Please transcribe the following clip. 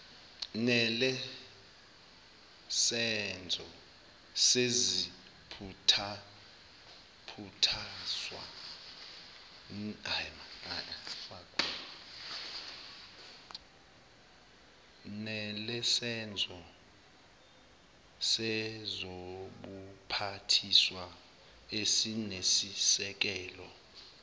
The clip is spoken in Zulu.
nelesenzo sezobuphathiswa esinesisekelo